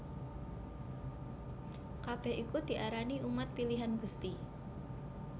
Kabèh iku diarani umat pilihan Gusti